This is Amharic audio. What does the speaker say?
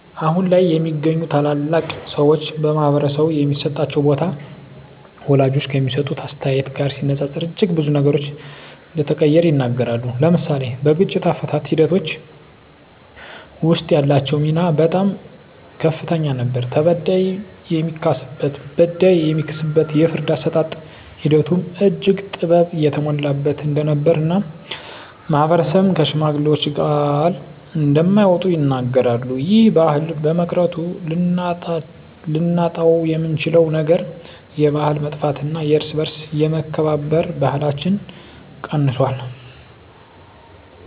አሁን ላይ የሚገኙ ታላላቅ ሰወች በማህበረሰቡ የሚሰጣቸው ቦታ ወላጆች ከሚሰጡት አስተያየት ጋር ሲነፃፀር እጅግ ብዙ ነገሮች እንደተቀየረ ይናገራሉ። ለምሳሌ በግጭት አፈታት ሒደቶች ወስጥ ያላቸው ሚና በጣም ከፍተኛ ነበር ተበዳይ የሚካስበት በዳይ የሚክስበት የፍርድ አሰጣጥ ሒደቱም እጅግ ጥበብ የተሞላበት እንደነበር እና ማህበረሰብም ከሽማግሌወች ቃል እንደማይወጡ ይናገራሉ። ይህ ባህል በመቅረቱ ልናጣውየምንችለው ነገር የባህል መጥፍት እና የእርስ በእርስ የመከባበር ባህለች ቀንሶል።